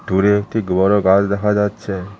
দূরে একটি গোয়ারো গাছ দেখা যাচ্ছে।